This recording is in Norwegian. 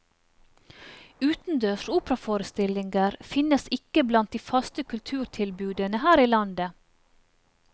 Utendørs operaforestillinger finnes ikke blant de faste kulturtilbudene her i landet.